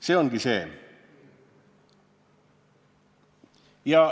See ongi see.